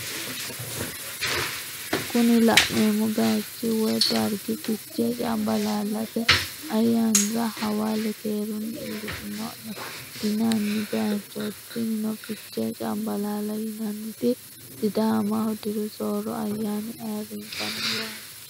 Kuni lanemo bayichi woyi darrigi fichee-canbalaallate ayaanira hawalle keerunni illishshinone yinani bayichoti tinino fichee-canbalaalla yinaniti sidaamaho dirru soro ayana ayirinisaniwati.